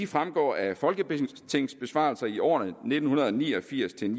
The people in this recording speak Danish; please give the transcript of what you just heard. fremgår af folketingsbesvarelser i årene nitten ni og firs til